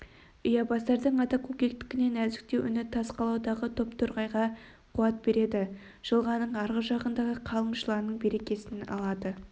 ұябасардың ата көкектікінен нәзіктеу үні тас қалаудағы топ торғайға қуат береді жылғаның арғы жағындағы қалың жыланның берекесін алады